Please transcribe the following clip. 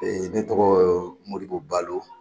ne tɔgɔ Moribo Balo.